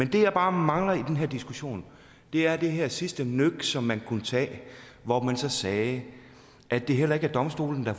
det jeg bare mangler i den her diskussion er det her sidste nøk som man kunne tage hvor man så sagde at det heller ikke er domstolene der